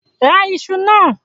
Ra iṣu náà!